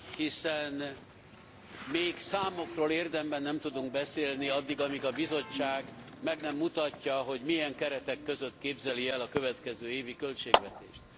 Hiszen még számokról érdemben nem tudunk beszélni addig, amíg a Bizottság meg nem mutatja, hogy milyen keretek között képzeli el a következő évi költségvetést.